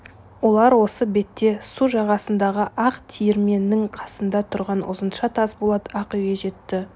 олар осы бетте су жағасындағы ақ тиірменінің қасында тұрған ұзынша тасболат ақ үйге жетті